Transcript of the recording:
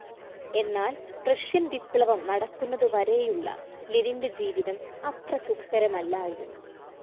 എന്നാൽ റഷ്യൻ വിപ്ലവം നടക്കുന്നതുവരേയുള്ള ലെനിൻ്റെ ജീവിതം അത്ര സുഖകരമല്ലായിരുന്നു.